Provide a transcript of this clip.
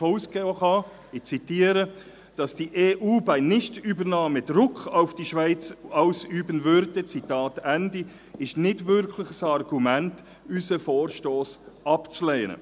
auszugehen sei, ich zitiere, «[…] dass die EU bei einer Nichtübernahme Druck auf die Schweiz ausüben würde», Zitat Ende, ist nicht wirklich ein Argument, unseren Vorstoss abzulehnen.